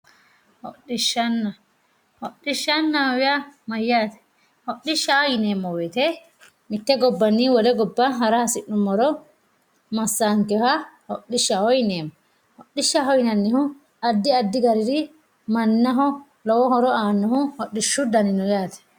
Hodhishshanna, hodhishshanna yaa mayyate, hodhishsha yineemmo woyte mite gobbanni wole gobba hara hasi'nuummoro massanoha hodhishshaho yineemmo, hodhishshaho yineemmohu addi addi danire horo aanohu hodhishshu dani no yaate.